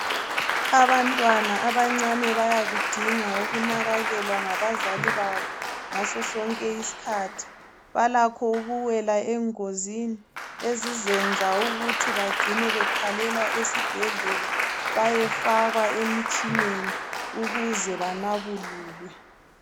Abantwana abancane bayakudinga ukunakekelwa ngabazali babo ngasosonke isikhathi. Balakho ukuwela engozini ezizenza ukuthi bagcine bethwalelwa esibhedlela, bayefakwa emtshineni ukuze banabululwe.